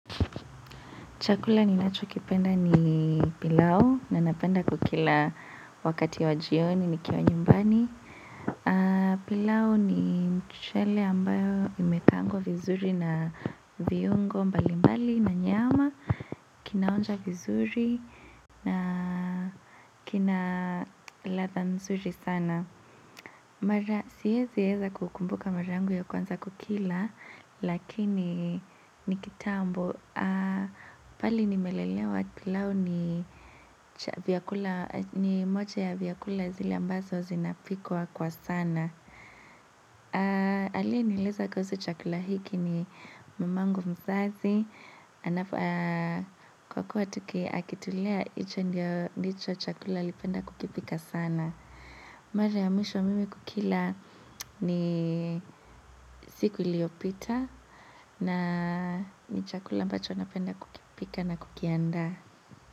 Chakula ninachokipenda ni pilau na napenda kukila wakati wa jioni nikiwa nyumbani. Pilau ni mchele ambayo imekaangwa vizuri na viungo mbali mbali na nyama. Kinaonja vizuri na kina ladhaa nzuri sana. Mara, siwezi weza kukumbuka mara yangu ya kwanza kukila lakini ni kitambo. Pahali nimelelewa pilau ni moja ya vyakula zile ambazo zinapikwa kwa sana. Aliye nieleza kuhusu chakula hiki ni mamangu mzazi. Kwa kuwa akitulea hicho ndicho chakula alipenda kukipika sana. Mara ya mwisho mimi kukila ni siku iliyopita na ni chakula ambacho napenda kukipika na kukiandaa.